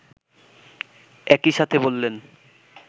একইসাথে বললেন